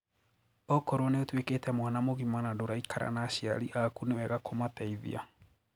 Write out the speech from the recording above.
Okorwo niũtwikite mwana mugima na ndũraikara na aciari aku ni wega kũmateithia